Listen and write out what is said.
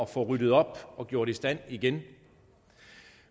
få ryddet op og gjort i stand igen